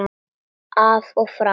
Af og frá!